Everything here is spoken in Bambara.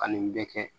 Ani bɛɛ kɛ